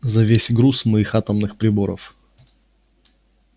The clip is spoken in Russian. за весь груз моих атомных приборов